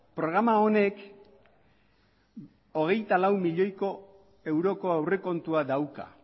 programa honek hogeita lau milioiko euroko aurrekontua dauka